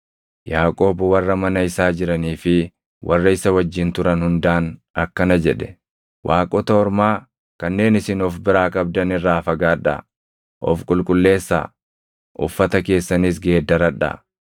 Yaaqoob warra mana isaa jiranii fi warra isa wajjin turan hundaan akkana jedhe; “Waaqota ormaa kanneen isin of biraa qabdan irraa fagaadhaa; of qulqulleessaa; uffata keessanis geeddaradhaa.